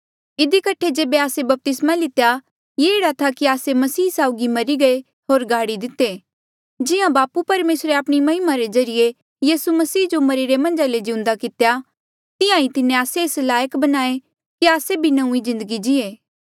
इधी कठे जेबे आस्से बपतिस्मा लितेया ये एह्ड़ा था कि आस्से मसीह साउगी मरी गये होर गडी दिते जिहां बापू परमेसरे आपणी महिमा रे ज्रीए यीसू मसीह जो मरिरे मन्झा ले जिउन्दा कितेया तिहां ईं तिन्हें आस्से एस लायक बणाए कि आस्से भी नौंईं जिन्दगी जीए